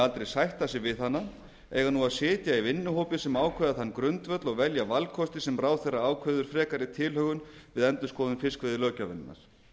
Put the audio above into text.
aldrei sætta sig við hana eiga nú að sitja í vinnuhópi sem ákveða þann grundvöll og velja valkosti sem ráðherra ákveður frekari tilhögun við endurskoðun fiskveiðilöggjafarinnar